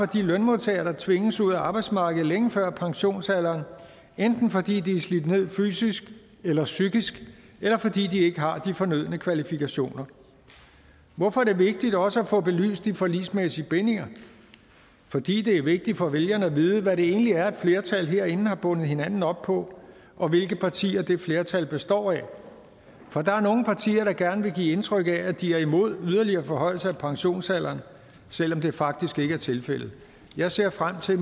de lønmodtagere der tvinges ud af arbejdsmarkedet længe før pensionsalderen enten fordi de er slidt ned fysisk eller psykisk eller fordi de ikke har de fornødne kvalifikationer hvorfor er det vigtigt også at få belyst de forligsmæssige bindinger fordi det er vigtigt for vælgerne at vide hvad det egentlig er et flertal herinde har bundet hinanden op på og hvilke partier det flertal består af for der er nogle partier der gerne vil give indtryk af at de er imod yderligere forhøjelse af pensionsalderen selv om det faktisk ikke er tilfældet jeg ser frem til